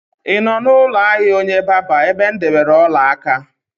Ị nọ n'ụlọ ahịa onye barber ebe m debere ọla aka?